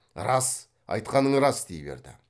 рас айтқаның рас дей берді